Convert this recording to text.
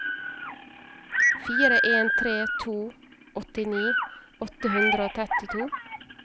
fire en tre to åttini åtte hundre og trettito